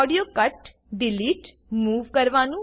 ઓડિયોને cut delete move કરવાનું